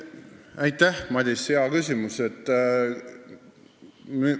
Aitäh, Madis, hea küsimus!